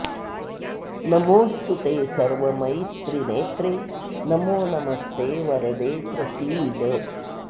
नमोऽस्तु ते सर्वमयि त्रिनेत्रे नमो नमस्ते वरदे प्रसीद